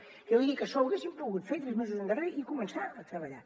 jo vull dir que això ho haguéssim pogut fer tres mesos enrere i començar a treballar